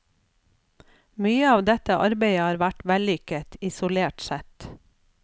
Mye av dette arbeidet har vært vellykket, isolert sett.